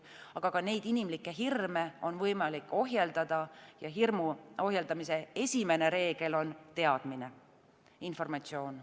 Aga ka neid inimlikke hirme on võimalik ohjeldada ja hirmu ohjeldamise esimene reegel on teadmine, informatsioon.